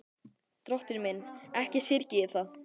Drottinn minn, ekki syrgi ég það.